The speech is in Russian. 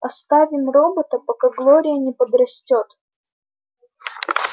оставим робота пока глория не подрастёт